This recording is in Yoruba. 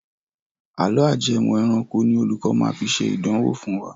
Àlọ́ ajẹmọ̀ ẹranko ni olùkọ máa fi ṣe ìdánwò fún wa.